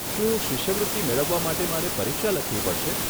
શું શિષ્યવૃત્તિ મેળવવા માટે મારે પરીક્ષા લખવી પડશે?